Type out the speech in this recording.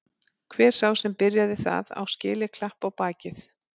Hver sá sem byrjaði það á skilið klapp á bakið.